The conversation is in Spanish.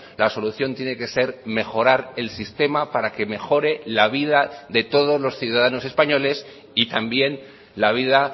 la solución tiene que ser mejorar el sistema para que mejore la vida de todos los ciudadanos españoles y también la vida